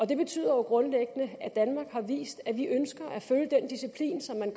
det betyder jo grundlæggende at danmark har vist at vi ønsker at følge den disciplin som man